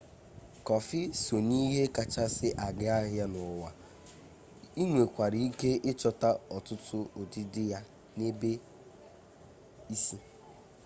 kọfi sọ na ihe kachasị aga ahịa n'ụwa i nwekwara ike ịchọta ọtụtụ ụdịdị ya n'ebe isi